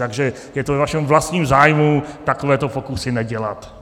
Takže je to ve vašem vlastním zájmu takovéto pokusy nedělat.